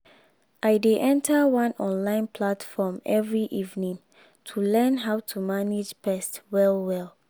i dey enter one online platform every evening to learn how to manage pest well well.